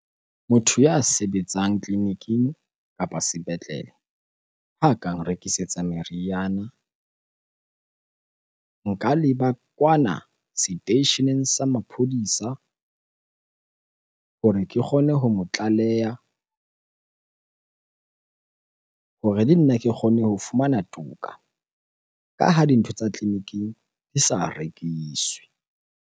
Motho ya sebetsang tleliniking kapa sepetlele ha ka nrekisetsa meriana. Nka leba kwana seteisheneng sa maphodisa hore ke kgone ho mo tlaleha hore le nna ke kgone ho fumana toka ka ha dintho tsa tleliniking di sa rekiswe.